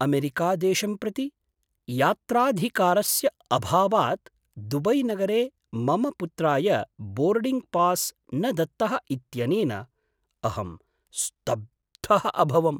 अमेरिकादेशं प्रति यात्राधिकारस्य अभावात् दुबैनगरे मम पुत्राय बोर्डिङ्ग् पास् न दत्तः इत्यनेन अहं स्तब्धः अभवम्।